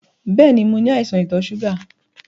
Bẹ́ẹ̀ni, mo ní àìsàn ìtò ṣúgà.